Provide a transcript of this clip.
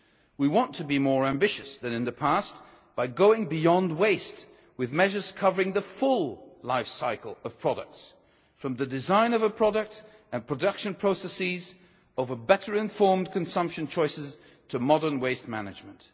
We want to be more ambitious than in the past by going beyond waste, with measures covering the full life cycle of products, from the design of a product and production processes and of better informed consumption choices to modern waste management.